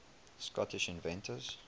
scottish inventors